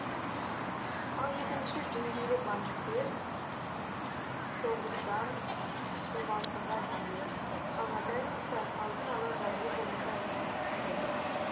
ал екінші деңгейлі банктер тоғыздан он алтыға дейін ал нотариустар алдын ала жазылу бойынша жұмыс істейді